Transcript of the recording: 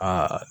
Aa